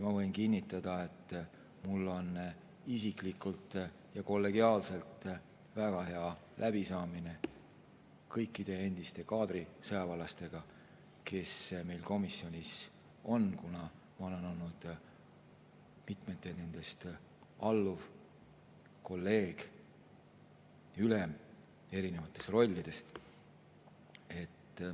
Ma võin kinnitada, et mul on isiklikult ja kollegiaalselt väga hea läbisaamine kõikide endiste kaadrisõjaväelastega, kes meil komisjonis on, ma olen olnud nendest mitme alluv, kolleeg või ülem, olen olnud erinevates rollides.